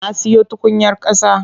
Na siyo tukunyar ƙasa.